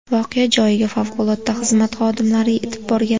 Voqea joyiga favqulodda xizmat xodimlari yetib borgan.